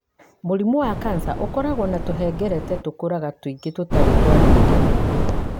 Mũrimũ wa kanca ũkoragwo na tũhengereta tũkũraga tũingĩ tũtarĩ twa ndũire.